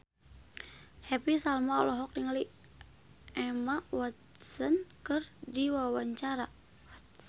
Happy Salma olohok ningali Emma Watson keur diwawancara